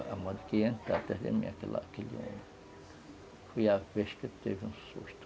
E a moça que ia entrar atrás da minha, aquele homem, foi a vez que eu tive um susto.